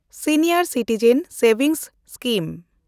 senior citizen savings scheme